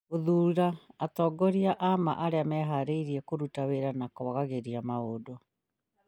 gũthuura atongoria a ma arĩa meharĩirie kũruta wĩra na kwagagĩria maũndũ